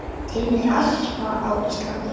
Tíðni astma á Íslandi